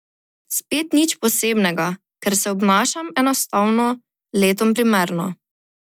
Spet nič posebnega, ker se obnašam enostavno letom primerno.